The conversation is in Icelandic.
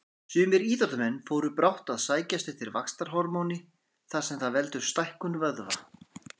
Sumir íþróttamenn fóru brátt að sækjast eftir vaxtarhormóni þar sem það veldur stækkun vöðva.